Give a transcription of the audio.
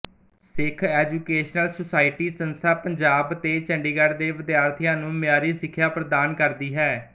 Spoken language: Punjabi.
ਸਿੱਖ ਐਜੂਕੇਸ਼ਨਲ ਸੁਸਾਇਟੀ ਸੰਸਥਾ ਪੰਜਾਬ ਤੇ ਚੰਡੀਗੜ੍ਹ ਦੇ ਵਿਦਿਆਰਥੀਆਂ ਨੂੰ ਮਿਆਰੀ ਸਿੱਖਿਆ ਪ੍ਰਦਾਨ ਕਰਦੀ ਹੈ